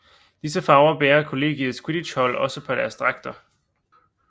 Disse farver bærer kollegiets quidditchhold også på deres dragter